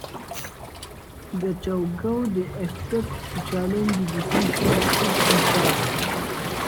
gachagua dey expected to challenge di decision if e pass.